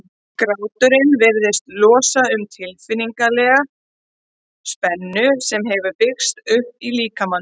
Gráturinn virðist losa um tilfinningalega spennu sem hefur byggst upp í líkamanum.